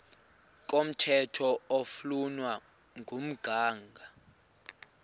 komthetho oflunwa ngumgago